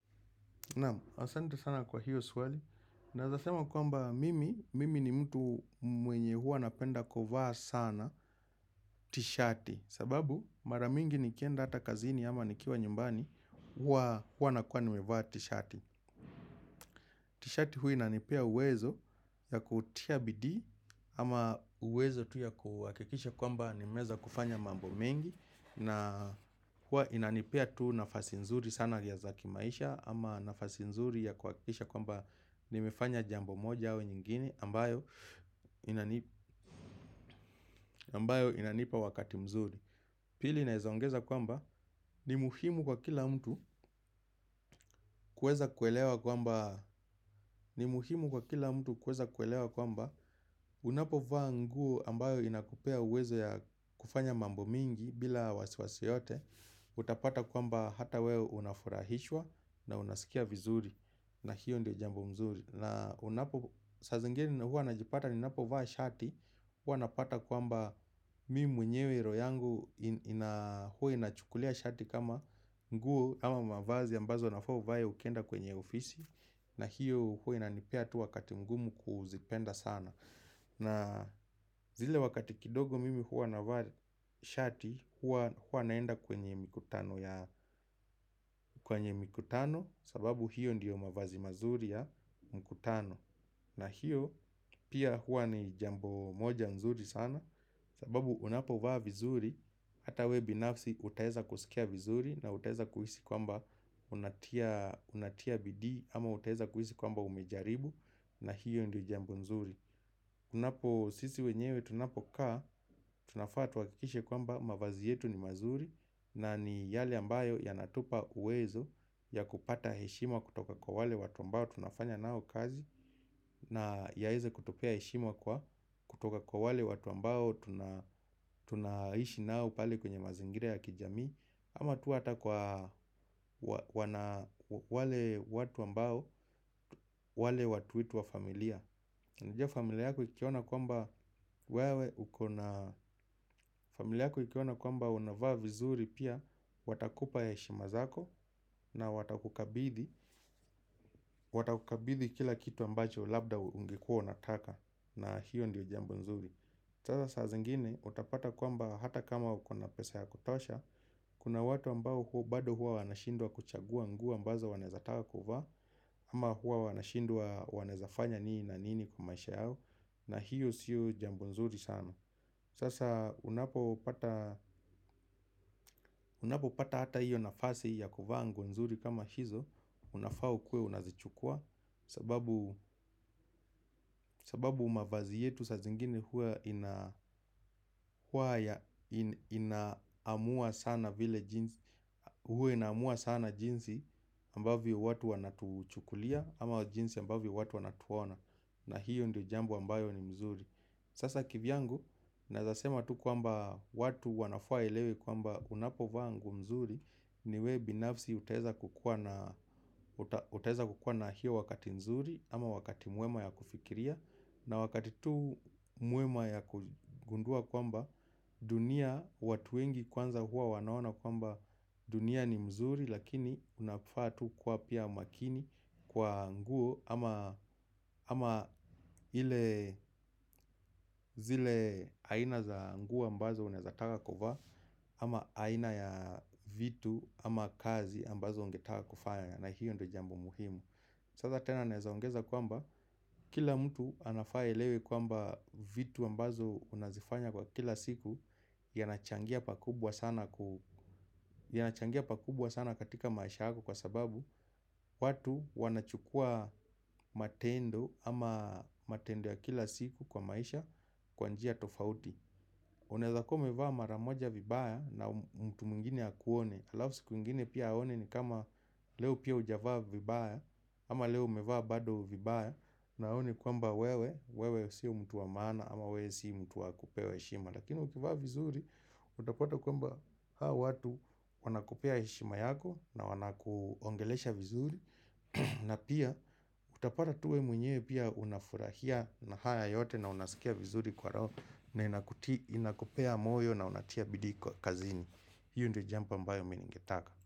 Naam, asante sana kwa hiyo swali. Naeza sema kwamba mimi, mimi ni mtu mwenye huwa napenda kuvaa sana tishati. Sababu maramingi nikienda hata kazini ama nikiwa nyumbani, huwa nakuwa nimevaa tishati. Tishati huwa inanipea uwezo ya kutia bidii, ama uwezo tu ya kuhakikisha kwamba nimeeza kufanya mambo mengi. Na huwa inanipea tu nafasi nzuri sana ya zaki maisha. Ama nafasi nzuri ya kuhakikisha kwamba nimefanya jambo moja au nyingine ambayo inanipa wakati mzuri. Pili naezaongeza kwamba ni muhimu kwa kila mtu kueza kuelewa kwamba ni muhimu kwa kila mtu kueza kuelewa kwamba unapo vaa nguo ambayo inakupea uwezo ya kufanya mambo mingi bila wasiwasi yoyote. Utapata kwamba hata wewe unafurahishwa na unasikia vizuri. Na hiyo ndo jambo mzuri. Na unapo saa zingine huwa najipata ni napo vaa shati. Huwa napata kwamba mimi mwenyewe roho yangu huwa inachukulia shati kama nguo ama mavazi ambazo nafaa uvae ukenda kwenye ofisi. Na hiyo huwa inanipea tu wakati mgumu kuzipenda sana. Na zile wakati kidogo mimi huwa navaa shati. Huwa naenda kwenye mkutano. Kwenye mkutano sababu hiyo ndiyo mavazi mazuri ya mkutano. Na hiyo pia huwa ni jambo moja mzuri sana. Sababu unapo vaa vizuri. Hata we binafsi utaeza kusikia vizuri. Na utaeza kuhisi kwamba unatia bidii. Ama utaeza kuhisi kwamba umejaribu. Na hiyo ndiyo jambo mzuri. Unapo sisi wenyewe tunapokaa tunafaa tuhakikishe kwamba mavazi yetu ni mazuri. Na ni yale ambayo yanatupa uwezo ya kupata heshima kutoka kwa wale watu ambao tunafanya nao kazi. Na yaeze kutupea heshima kwa kutoka kwa wale watu ambao tunaishi nao pale kwenye mazingira ya kijamii. Ama tu hata kwa wale watu ambao wale watu wetu wa familia. Nijia familia yako ikiona kwamba unavaa vizuri pia watakupa heshima zako. Na watakukabithi kila kitu ambacho labda ungekua unataka. Na hiyo ndiyo jambo nzuri. Sasa saa zingine utapata kuamba hata kama uko na pesa ya kutosha. Kuna watu ambao bado huwa wanashindwa kuchagua nguo ambazo wanaezataka kuvaa. Ama huwa wanashindwa wanaezafanya nini na nini kwa maisha yao. Na hiyo siyo jambo nzuri sana. Sasa unapo pata hata hiyo nafasi ya kuvaa nguo nzuri kama hizo. Unafaa ukuwe unazichukua. Sababu mavazi yetu saa zingine huwa ina amua sana jinsi huwa ina amua sana jinsi ambavyo watu wanatuchukulia ama jinsi ambavyo watu wanatuona. Na hiyo ndio jambo ambayo ni mzuri. Sasa kivyangu naeza sema tu kwamba watu wanafaa elewe kwamba unapo vaa nguo mzuri. Niwe binafsi utaeza kukua na hiyo wakati mzuri. Ama wakati muema ya kufikiria. Na wakati tu mwema ya kugundua kwamba dunia watu wengi kwanza huwa wanaona kwamba dunia ni mzuri. Lakini unafaa tu kuwa pia makini kwa nguo ama zile aina za nguo ambazo unaezataka kuvaa. Ama aina ya vitu ama kazi ambazo ungetaka kufanya. Na hiyo ndo jambo muhimu. Sasa tena naeza ongeza kwamba kila mtu anafaa aelewe kwamba vitu ambazo unazifanya kwa kila siku. Yanachangia pakubwa sana katika maisha yako kwa sababu watu wanachukua matendo ama matendo ya kila siku kwa maisha kwa njia tofauti. Unaeza kuwa umeva maramoja vibaya na mtu mwingine akuone. Alafu siku ingine pia aone ni kama leo pia hujavaa vibaya. Ama leo umevaa bado vibaya na aone kwamba wewe wewe si mtu wa maana ama wewe si mtu wa kupewa heshima. Lakini ukivaa vizuri utapata kwamba hao watu wanakupea heshima yako na wanakuongelesha vizuri. Na pia utapata tu we mwenyewe pia unafurahia na haya yote. Na unasikia vizuri kwa roho. Na inakupea moyo na unatia bidii kwa kazini. Hiyo ndo jambo ambayo mi ningetaka.